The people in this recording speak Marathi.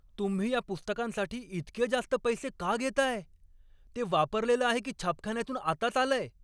तुम्ही या पुस्तकांसाठी इतके जास्त पैसे का घेताय? ते वापरलेलं आहे की छापखान्यातून आताच आलंय?